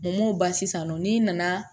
N m'o ban sisan nɔ n'i nana